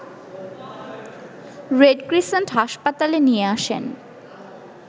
red crescent হাসপাতালে নিয়ে আসেন